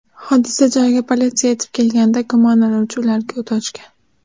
Hodisa joyiga politsiya yetib kelganida gumonlanuvchi ularga o‘t ochgan.